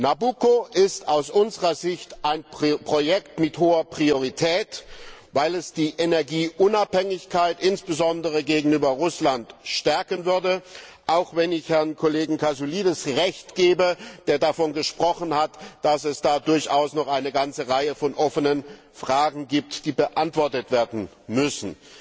Nabucco ist aus unserer Sicht ein Projekt mit hoher Priorität, weil es die Energieunabhängigkeit insbesondere gegenüber Russland stärken würde, auch wenn ich dem Herrn Kollegen Kasoulides Recht gebe, der davon gesprochen hat, dass es da durchaus noch eine ganze Reihe offener Fragen gibt, die beantwortet werden müssen.